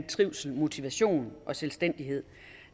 trivsel motivation og selvstændighed